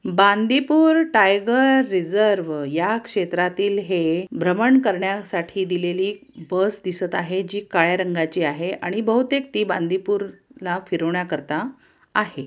Bandipur tiger reserve या क्षेत्रातील है भ्रमण करण्यासाठी दिलेली बस दिसत आहे जी काळ्या रंगाची आहे आणि बहुतेक ती बांदीपूर ला फिरवण्याकरता आहे.